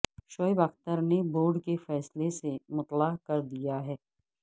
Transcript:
شعیب اختر نے بورڈ کو فیصلے سے مطلع کر دیا ہے